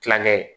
Kilankɛ